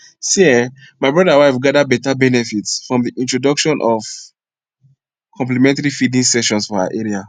see eh my brother wife gather betta benefited from the introduction of complementary feeding sessions for her area